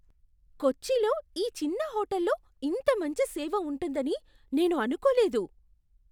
కొచ్చిలో ఈ చిన్న హోటల్లో ఇంత మంచి సేవ ఉంటుందని నేను అనుకోలేదు!